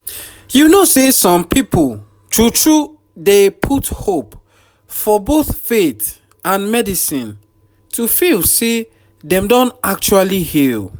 you know say some people true true dey put hope for both faith and medicine to feel say dem don actually heal